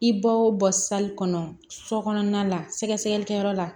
I ba o bɔ sali kɔnɔ so kɔnɔna la sɛgɛsɛgɛlikɛyɔrɔ la